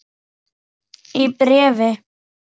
Í bréfi